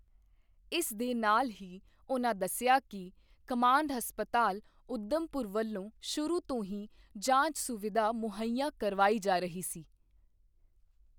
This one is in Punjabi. ਇਸ ਦੇ ਨਾਲ ਹੀ ਉਨ੍ਹਾਂ ਦੱਸਿਆ ਕਿ ਕਮਾਂਡ ਹਸਪਤਾਲ ਉਧਮਪੁਰ ਵੱਲੋਂ ਸ਼ੁਰੂ ਤੋਂ ਹੀ ਜਾਂਚ ਸੁਵਿਧਾ ਮੁਹਈਆ ਕਰਵਾਈ ਜਾ ਰਹੀ ਸੀ।